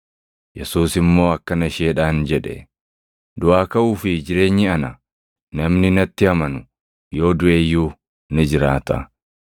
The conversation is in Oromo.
Yesuus immoo akkana isheedhaan jedhe; “Duʼaa kaʼuu fi jireenyi ana. Namni natti amanu yoo duʼe iyyuu ni jiraata;